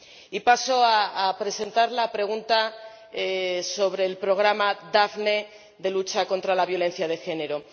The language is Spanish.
Y paso a presentar la pregunta sobre el programa Daphne de lucha contra la violencia de género.